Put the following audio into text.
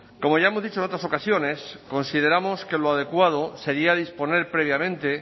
como ya hemos dicho en otras ocasiones consideramos que lo adecuado sería disponer previamente